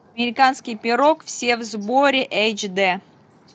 американский пирог все в сборе эйч д